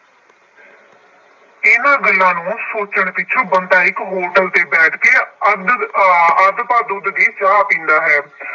ਇਹਨਾ ਗੱਲਾਂ ਨੂੰ ਸੋਚਣ ਵਿੱਚ ਬੰਤਾ ਇੱਕ ਹੋਟਲ ਤੇ ਬੈਠ ਕੇ ਅੱਧ ਅੱਧ ਅੱਧ-ਪਾਅ ਦੁੱਧ ਦੀ ਚਾਹ ਪੀਂਦਾ ਹੈ ।